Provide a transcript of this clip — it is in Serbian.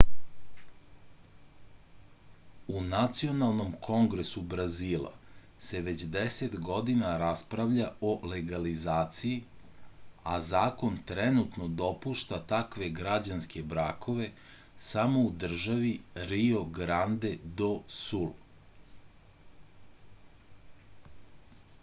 u nacionalnom kongresu brazila se već 10 godina raspravlja o legalizaciji a zakon trenutno dopušta takve građanske brakove samo u državi rio grande do sul